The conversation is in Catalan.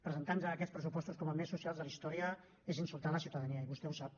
presentar nos aquests pressupostos com els més socials de la història és insultar la ciutadania i vostè ho sap